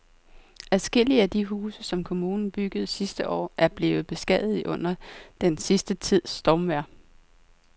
Adskillige af de huse, som kommunen byggede sidste år, er blevet beskadiget under den sidste tids stormvejr.